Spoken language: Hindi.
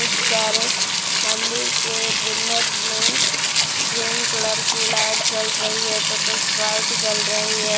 सारे मंदिर के बुनट में ग्रीन कलर की लाइट जल रही है तो कुछ व्हाइट जल रही है।